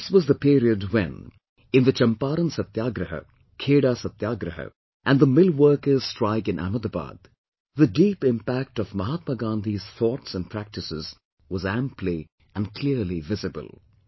This was the period when, in the Champaran Satyagraha, Kheda Satyagraha, and the millworkers' strike in Ahmedabad, the deep impact of Mahatma Gandhi's thoughts and practices was amply and clearly visible